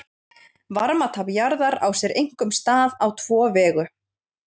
varmatap jarðar á sér einkum stað á tvo vegu